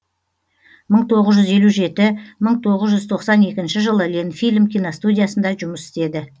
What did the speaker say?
мың тоғыз жүз елу жеті мың тоғыз жүз тоқсан екінші жылы ленфильм киностудиясында жұмыс істеді